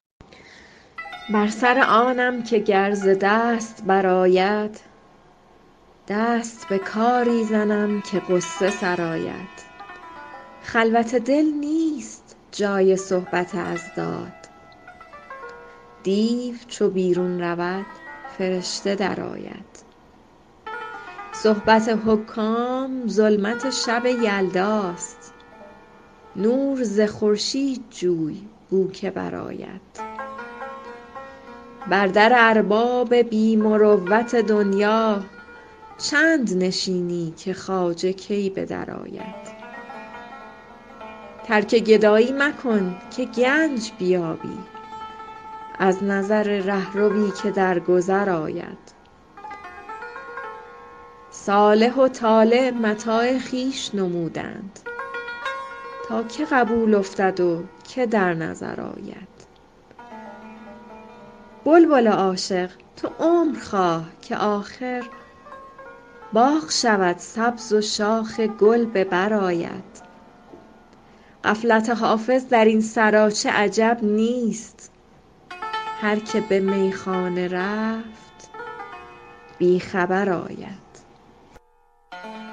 بر سر آنم که گر ز دست برآید دست به کاری زنم که غصه سرآید خلوت دل نیست جای صحبت اضداد دیو چو بیرون رود فرشته درآید صحبت حکام ظلمت شب یلداست نور ز خورشید جوی بو که برآید بر در ارباب بی مروت دنیا چند نشینی که خواجه کی به درآید ترک گدایی مکن که گنج بیابی از نظر رهروی که در گذر آید صالح و طالح متاع خویش نمودند تا که قبول افتد و که در نظر آید بلبل عاشق تو عمر خواه که آخر باغ شود سبز و شاخ گل به بر آید غفلت حافظ در این سراچه عجب نیست هر که به میخانه رفت بی خبر آید